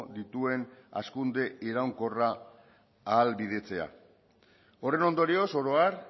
dituen hazkunde iraunkorra ahalbidetzea horren ondorioz oro har